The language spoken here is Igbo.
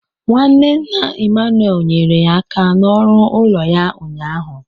Nwanne nna Emmanuel nyere ya aka n'ọrụ ụlọ ya ụnyaahụ.